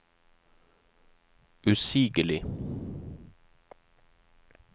usigelig